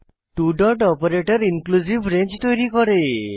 two dot operator inclusive range তৈরী করে